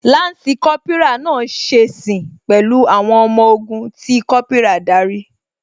Lansi Kópírà náà ṣe sìn pẹ̀lú àwọn ọmọ ogun tí Kópírà darí